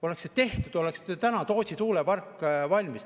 Oleks see tehtud, oleks täna Tootsi tuulepark valmis.